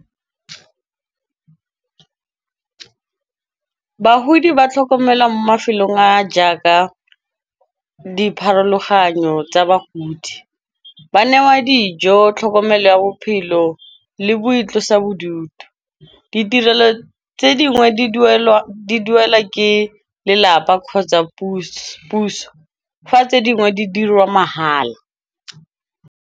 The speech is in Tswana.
Bagodi ba tlhokomelwa mo mafelong a jaaka dipharologanyo tsa bagodi. Ba newa dijo, tlhokomelo ya pelo le boitlosa bodutu. Ditirelo tse dingwe di duelwa ke lelapa kgotsa puso, fa tse dingwe di dirwa mahala.